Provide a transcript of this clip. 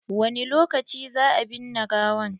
Wani lokaci za a binne gawan?